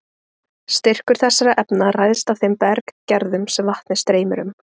Styrkur þessara efna ræðst af þeim berggerðum sem vatnið streymir um.